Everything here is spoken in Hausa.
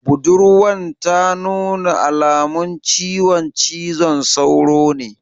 Budurwan ta nuna alamun ciwon cizon sauro ne?